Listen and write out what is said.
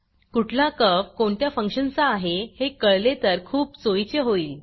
कुठला कर्व्ह कोणत्या फंक्शनचा आहे हे कळले तर खूप सोयीचे होईल